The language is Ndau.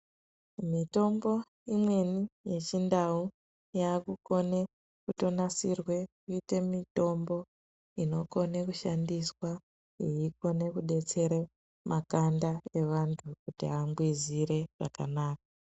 Mitombo imweni yechiNdau yakukone kutonasirwe kuite mitombo inokone kushandiswa yeikone kudetsere makanda evantu kuti angwizire zvakanaka.